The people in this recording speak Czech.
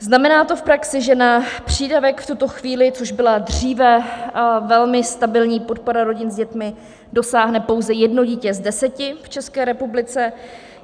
Znamená to v praxi, že na přídavek v tuto chvíli, což byla dříve velmi stabilní podpora rodin s dětmi, dosáhne pouze jedno dítě z deseti v České republice.